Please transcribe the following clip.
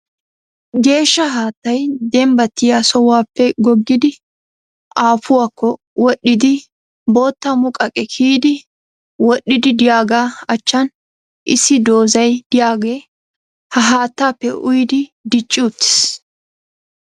Geeshsha haattay dembattiya sohuwaappe goggidi aapuwakko wodhdhiiddi bootta muqaqiya kiyidi wodhdhiiddi diyagaa achchan issi doozay de'iyaagee ha haattaappe uyidi dicci uttis.